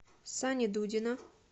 сани дудина